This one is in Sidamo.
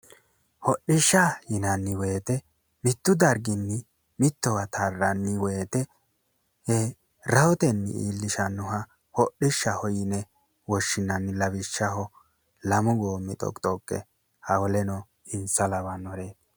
Hodhisha yinanni woyte mitu darigini mitowa taranni woyte rahotenni illishanoha hodhi'shaho yine woshinanni, lawishaho lamu goomi xoqixoqe wolenno insa lawanore